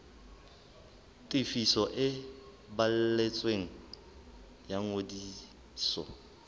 tefiso e balletsweng ya ngodiso